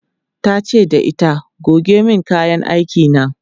tace da ita "goge min kayan aiki na!"